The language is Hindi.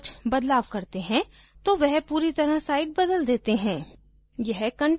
जब हम इस तरह से कुछ बदलाव करते हैं तो वह पूरी site बदल देते हैं